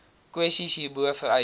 kwessies hierbo vereis